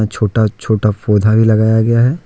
छोटा छोटा पौधा भी लगाया गया है।